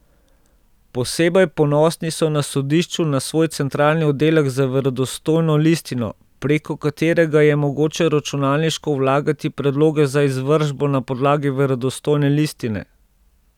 Posebej ponosni so na sodišču na svoj centralni oddelek za verodostojno listino, preko katerega je mogoče računalniško vlagati predloge za izvršbo na podlagi verodostojne listine.